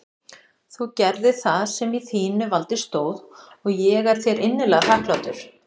Þú gerðir það sem í þínu valdi stóð og ég er þér innilega þakklátur.